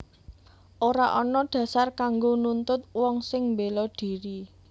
Ora ana dhasar kanggo nuntut wong sing mbéla dhiri